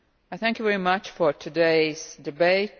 Thank you very much for today's debate.